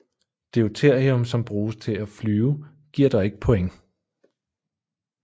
Deuterium som bruges til at flyve giver dog ikke points